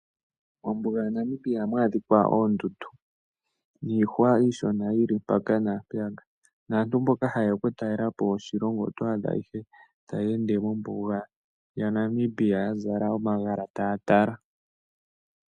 Mombuga yaNamibia ohamu adhika oondundu niihwa iishona yi li mpaka naampeyaka naantu mboka haye ya okutalela po oshilongo oto adha ihe taya ende mombuga yaNamibia ya zala omagala taya tala.